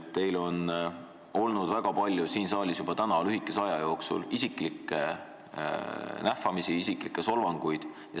Te olete siin saalis juba selle tänase lühikese aja jooksul kasutanud väga palju isiklikke nähvamisi ja isiklikke solvanguid.